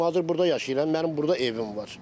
Mən hazır burda yaşayıram, mənim burda evim var.